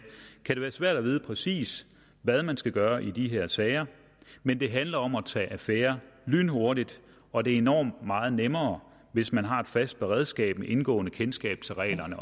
kan det være svært at vide præcis hvad man skal gøre i de her sager men det handler om at tage affære lynhurtigt og det er enormt meget nemmere hvis man har et fast beredskab med indgående kendskab til reglerne